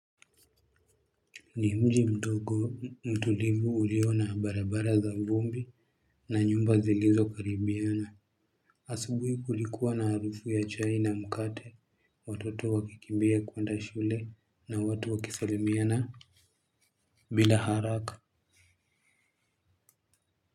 Ni mji mdogo mtulivu ulio na barabara za vumbi na nyumba zilizo karibiana asubuhi kulikua na harufu ya chai na mkate watoto wakikimbia kwenda shule na watu wakisalimiana bila haraka.